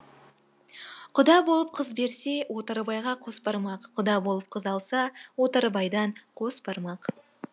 құда болып қыз берсе отарбайға қосбармақ құда болып қыз алса отарбайдан қосбармақ